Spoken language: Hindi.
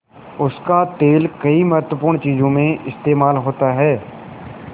उसका तेल कई महत्वपूर्ण चीज़ों में इस्तेमाल होता है